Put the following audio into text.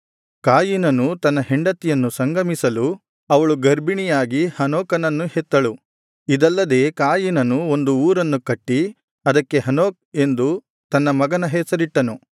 ಕಾಯಿನನು ತನ್ನ ಹೆಂಡತಿಯನ್ನು ಸಂಗಮಿಸಲು ಅವಳು ಗರ್ಭಿಣಿಯಾಗಿ ಹನೋಕನನ್ನು ಹೆತ್ತಳು ಇದಲ್ಲದೆ ಕಾಯಿನನು ಒಂದು ಊರನ್ನು ಕಟ್ಟಿ ಅದಕ್ಕೆ ಹನೋಕ್ ಎಂದು ತನ್ನ ಮಗನ ಹೆಸರಿಟ್ಟನು